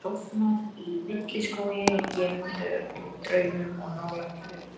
Hef sofnað í villiskógi gerðum úr draumum of nálægt jörðu.